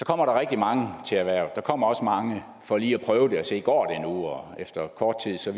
kommer der rigtig mange til erhvervet der kommer også mange for lige at prøve at se nu går og efter kort tid viser